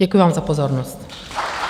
Děkuji vám za pozornost.